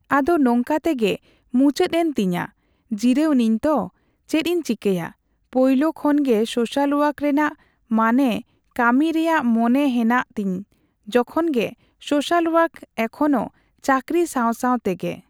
ᱟᱫᱚ ᱱᱚᱝᱠᱟ ᱛᱮᱜᱮ ᱢᱩᱪᱟᱹᱫ ᱮᱱ ᱛᱤᱧᱟ ᱡᱤᱨᱟᱹᱣ ᱤᱱᱟᱹᱧ ᱛᱚ ᱪᱮᱫ ᱤᱧ ᱪᱤᱠᱟᱭᱟ ᱾ ᱯᱳᱭᱞᱳ ᱠᱷᱚᱱᱜᱮ ᱥᱳᱥᱟᱞ ᱳᱟᱨᱠ ᱨᱮᱱᱟᱜ ᱢᱟᱱᱮ ᱠᱟᱹᱢᱤ ᱨᱮᱭᱟᱜ ᱢᱚᱱᱮ ᱦᱮᱱᱟᱜ ᱛᱤᱧ ᱩᱱᱠᱷᱚᱱ ᱜᱮ ᱥᱳᱥᱟᱞ ᱳᱟᱨᱠ ᱮᱠᱷᱚᱱᱳ ᱪᱟᱠᱨᱤ ᱥᱟᱣ ᱥᱟᱣ ᱛᱮᱜᱮ᱾